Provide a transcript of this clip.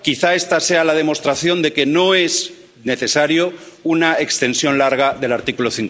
Quizá esta sea la demostración de que no es necesaria una extensión larga del artículo